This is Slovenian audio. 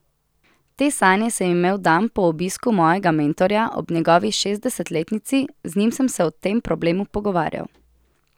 Te sanje sem imel dan po obisku mojega mentorja ob njegovi šestdesetletnici, z njim sem se o tem problemu pogovarjal.